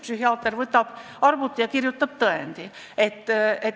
Psühhiaater istub arvuti taha ja kirjutab tõendi.